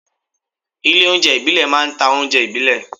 Ilé óúnjẹ ìbílẹ̀ máa ń ta oúnjẹ ìbílẹ̀